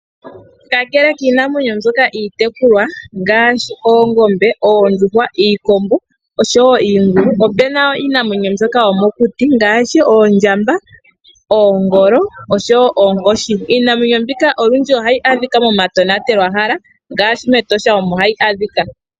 Kakele kiinamwenyo mbyoka iitekulwa ngaashi oongombe, oondjuhwa, iikombo nosho woo oongulu, opuna woo iinamwenyo mbyoka yomokuti ngaashi oondjamba, oongolo oshi woo oonkoshi. Iinamwenyo mbika olundji ohayi adhika mo matenwatelwahala ngaashi mEtosha omo hayi adhika.